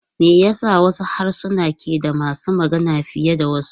Me yasa wasu harsuna ke da masu magana fiye da wasu?